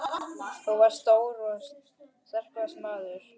Hann var stór og þrekvaxinn maður.